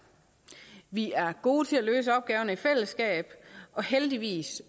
vi er gode til at løse opgaverne i fællesskab og heldigvis